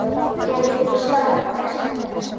Getur þú staðfest þetta?